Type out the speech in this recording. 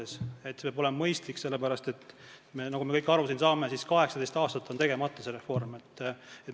See peab olema mõistlik, sest nagu me kõik aru saame, 18 aastat on see reform olnud tegemata.